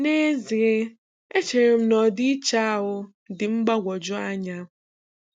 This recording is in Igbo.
N'ezie, echere m na ọdịiche ahụ dị mgbagwoju anya.